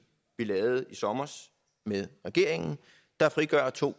vi lavede i sommer med regeringen der frigør to